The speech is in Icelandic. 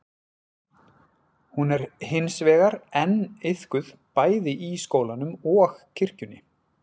Hún er hins vegar enn iðkuð bæði í skólanum og kirkjunni.